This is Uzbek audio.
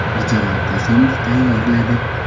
Mirjalol Qosimov tayyorladi .